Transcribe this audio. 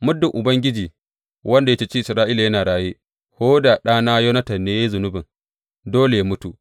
Muddin Ubangiji wanda ya ceci Isra’ila yana raye, ko da ɗana Yonatan ne ya yi zunubin, dole yă mutu.